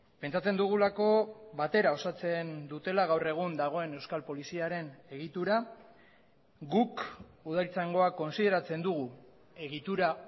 pentsatzen dugulako batera osatzen dutela gaur egun dagoen euskal poliziaren egitura guk udaltzaingoa kontsideratzen dugu egitura